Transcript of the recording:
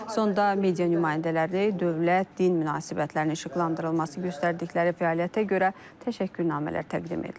Sonda media nümayəndələrinə dövlət din münasibətlərinin işıqlandırılması, göstərdikləri fəaliyyətə görə təşəkkürnamələr təqdim edilib.